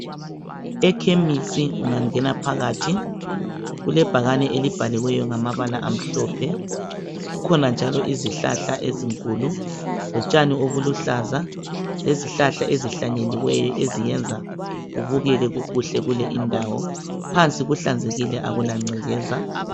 Ekhemisi ungangena phakathi kulebhakane elibhaliweyo ngamabala amhlophe. Kukhona njalo izihlahla ezinkulu lotshani obuluhlaza lezihlahla ezihlanyeliweyo eziyenza kubukeke kukuhle kule indawo. Phansi kuhlanzekile akula ngcekeza.